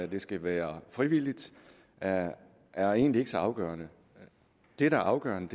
det skal være frivilligt er er egentlig ikke så afgørende det der er afgørende